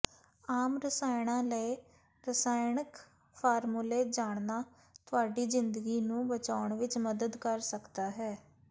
ਆਮ ਰਸਾਇਣਾਂ ਲਈ ਰਸਾਇਣਕ ਫਾਰਮੂਲੇ ਜਾਣਨਾ ਤੁਹਾਡੀ ਜਿੰਦਗੀ ਨੂੰ ਬਚਾਉਣ ਵਿੱਚ ਮਦਦ ਕਰ ਸਕਦਾ ਹੈ